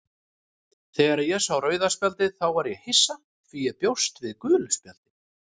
Þegar ég sá rauða spjaldið þá var ég hissa því ég bjóst við gulu spjaldi,